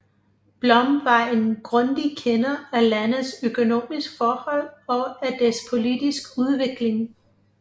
Blom var en grundig kender af landets økonomiske forhold og af dets politiske udvikling